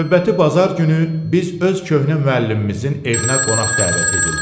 Növbəti bazar günü biz öz köhnə müəllimimizin evinə qonaq dəvət edildik.